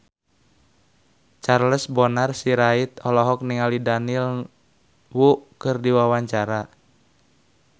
Charles Bonar Sirait olohok ningali Daniel Wu keur diwawancara